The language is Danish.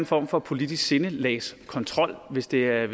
form for politisk sindelagskontrol hvis det er